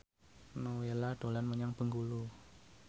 Nowela dolan menyang Bengkulu